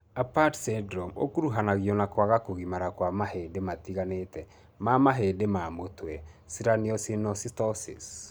Apert syndrome ũkuruhanagio na kwaga kũgimara kwa mahĩndĩ matiganĩte ma mahĩndĩ ma mũtwe (craniosynostosis).